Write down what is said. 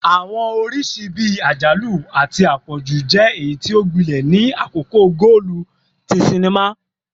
Awọn oriṣi bii ajalu ati apọju jẹ eyiti o gbilẹ ni akoko goolu ti sinima